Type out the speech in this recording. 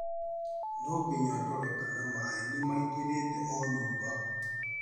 Nonginya ndore kana maĩ nĩ maingĩrĩte o nyũmba.